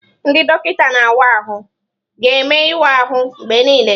Ndị dọkịta na-awa ahụ ga-eme ịwa ahụ mgbe niile.